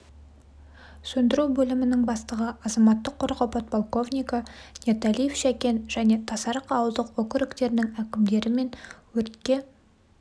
сөндіру бөлімінің бастығы азаматтық қорғау подполковнигі ниеталиев шәкен және тасарық ауылдық округтерінің әкімдері мен өртке